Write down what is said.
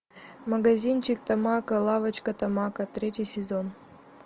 магазинчик тамако лавочка тамако третий сезон